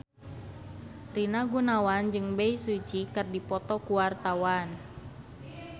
Rina Gunawan jeung Bae Su Ji keur dipoto ku wartawan